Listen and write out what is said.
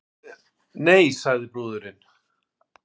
Nei, sagði brúðurin.